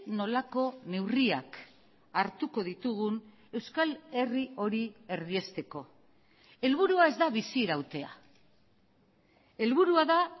nolako neurriak hartuko ditugun euskal herri hori erdiesteko helburua ez da bizirautea helburua da